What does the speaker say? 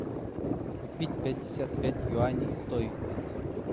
купить пятьдесят пять юаней стоимость